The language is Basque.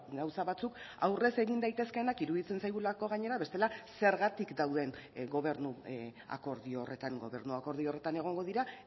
gauza batzuk aurrez egin daitezkeenak iruditzen zaigulako gainera bestela zergatik dauden gobernu akordio horretan gobernu akordio horretan egongo dira